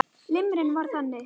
Limran var þannig: